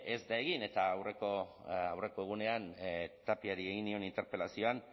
ez da egin eta aurreko egunean tapiari egin nion interpelazioan